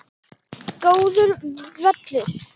Góður völlur.